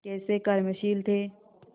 कैसे कर्मशील थे